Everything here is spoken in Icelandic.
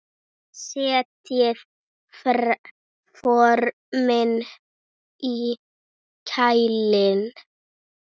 Setjið formin í kæli.